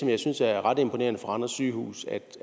jeg synes er ret imponerende på randers sygehus er